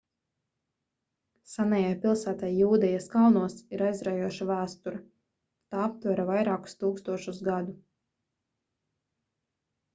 senajai pilsētai jūdejas kalnos ir aizraujoša vēsture tā aptver vairākus tūkstošus gadu